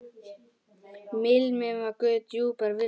Mímir var guð djúprar visku.